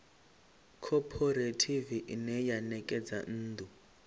khophorethivi ine ya ṋekedza nnḓu